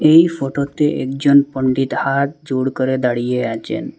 এই ফটোতে একজন পন্ডিত হাত জোড় করে দাঁড়িয়ে আচেন।